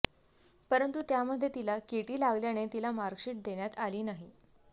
परंतु त्यामध्ये तिला केटी लागल्याने तिला मार्कशिट देण्यात आली नाही